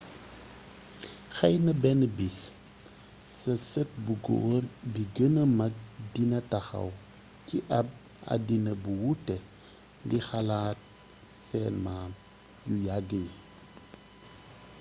xeyna benn bis sa sët bu goor bi ci gëna mag dina taxaw ci ab àddina bu wuute di xalaat seen maam yu yagg yi ?